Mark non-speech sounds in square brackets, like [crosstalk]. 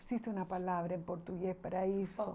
Existe uma palavra em português para isso. [unintelligible]